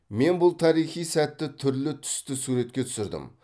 мен бұл тарихи сәтті түрлі түсті суретке түсірдім